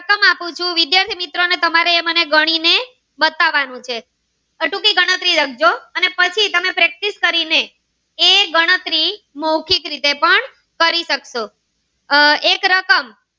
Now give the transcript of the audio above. તમારે મને ગણી ને બતાવાનું છે હજુ ભી ગણતરી લખજો અને પછી તમે practice કરીને એ ગણતરી મૌખિક રીતે પણ કરી સક્શો